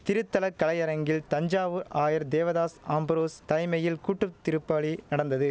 திருத்தல கலையரங்கில் தஞ்சாவூர் ஆயர் தேவதாஸ் அம்புரோஸ் தைமையில் கூட்டுத்திருப்பாலி நடந்தது